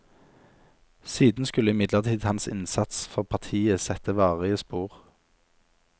Siden skulle imidlertid hans innsats for partiet sette varige spor.